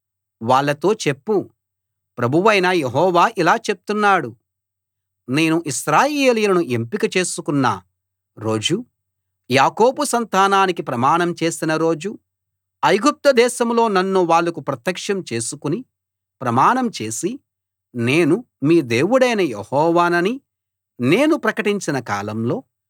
వాళ్ళతో చెప్పు ప్రభువైన యెహోవా ఇలా చెప్తున్నాడు నేను ఇశ్రాయేలును ఎంపిక చేసుకున్న రోజు యాకోబు సంతానానికి ప్రమాణం చేసిన రోజు ఐగుప్తుదేశంలో నన్ను వాళ్లకు ప్రత్యక్షం చేసుకుని ప్రమాణం చేసి నేను మీ దేవుడైన యెహోవానని నేను ప్రకటించిన కాలంలో